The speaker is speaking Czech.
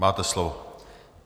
Máte slovo.